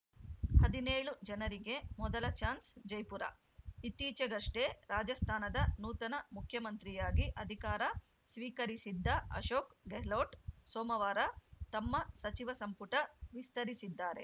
ಹದಿನೇಳು ಜನರಿಗೆ ಮೊದಲ ಚಾನ್ಸ್‌ ಜೈಪುರ ಇತ್ತೀಚೆಗಷ್ಟೇ ರಾಜಸ್ಥಾನದ ನೂತನ ಮುಖ್ಯಮಂತ್ರಿಯಾಗಿ ಅಧಿಕಾರ ಸ್ವೀಕರಿಸಿದ್ದ ಅಶೋಕ್‌ ಗೆರ್ಲೊಟ್ ಸೋಮವಾರ ತಮ್ಮ ಸಚಿವ ಸಂಪುಟ ವಿಸ್ತರಿಸಿದ್ದಾರೆ